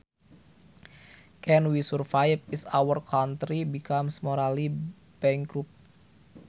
Can we survive is our country becomes morally bankrupt